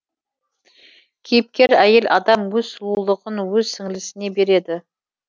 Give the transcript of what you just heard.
кейіпкер әйел адам өз сұлулығын өз сіңлісіне береді